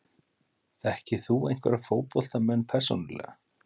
Þekkir þú einhverja fótboltamenn persónulega?